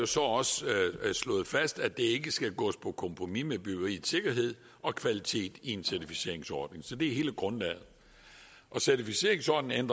så også slået fast at ikke skal gås på kompromis med byggeriets sikkerhed og kvalitet i en certificeringsordning så det er hele grundlaget certificeringsordningen